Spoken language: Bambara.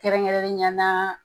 Kɛrɛnkɛrɛnnenɲana